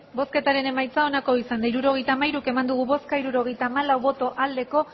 hirurogeita hamairu eman dugu bozka hirurogeita hamalau bai